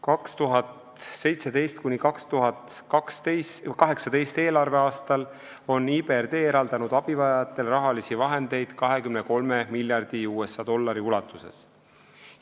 2017.–2018. eelarveaastal on IBRD eraldanud abivajajatele rahalisi vahendeid 23 miljardi USA dollari ulatuses.